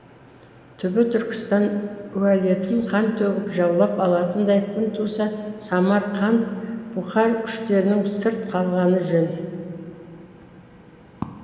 түбі түркістан уәлетін қан төгіп жаулап алатындай күн туса самарқант бұқар күштерінің сырт қалғаны жөн